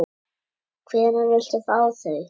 Hvenær viltu fá þau?